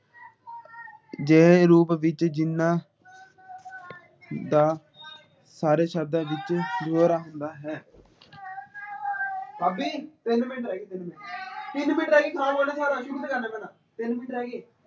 ਜਿਹੇ ਰੂਪ ਵਿੱਚ ਜਿਨ੍ਹਾਂ ਦਾ ਹਰ ਸ਼ਬਦਾ ਵਿੱਚ ਹੁੰਦਾ ਹੈ